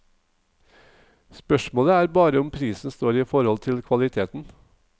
Spørsmålet er bare om prisen står i forhold til kvaliteten.